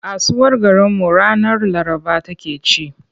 Kasuwar garinmu ranar Laraba take ci.